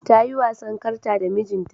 Ta yi wasan karta da mijinta.